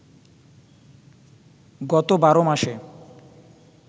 গত ১২ মাসে